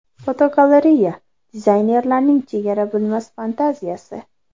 Fotogalereya: Dizaynerlarning chegara bilmas fantaziyasi.